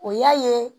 O y'a ye